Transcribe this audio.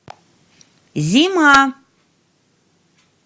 зима